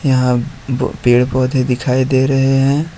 यहां ब पेड़ पौधे दिखाई दे रहे हैं।